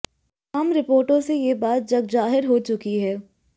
तमाम रिपोर्टों से यह बात जगजाहिर हो चुकी है